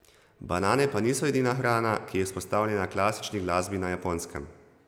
Banane pa niso edina hrana, ki je izpostavljena klasični glasbi na Japonskem.